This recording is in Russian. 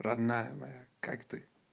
родная моя как ты